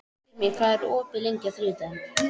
Styrmir, hvað er opið lengi á þriðjudaginn?